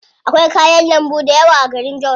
Akwai kayan lambu dayawa a garin jos.